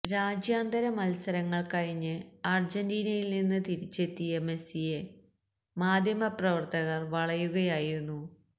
രാജ്യാന്തര മത്സരങ്ങള് കഴിഞ്ഞ് അര്ജന്റീനയില് നിന്ന് തിരിച്ചെത്തിയ മെസ്സിയെ മാധ്യമപ്രവര്ത്തകര് വളയുകയായിരുന്നു